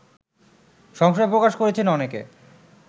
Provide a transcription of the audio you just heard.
সংশয় প্রকাশ করেছেন অনেকে